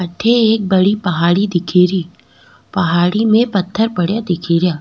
अठे एक बड़ी पहाड़ी दिखेरी पहाड़ी में पथ्थर पड़ेया दिखेरा।